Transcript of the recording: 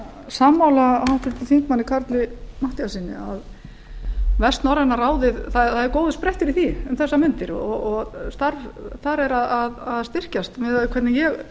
sammála háttvirtum þingmanni karli matthíassyni að vestnorræna ráðið það eru góðir sprettir í því um þessar mundir og starf þar er að styrkjast miðað við hvernig ég